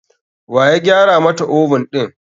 Waya gyara mata oven ɗin?